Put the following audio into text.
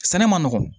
Sɛnɛ man nɔgɔn